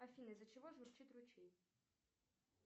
афина из за чего журчит ручей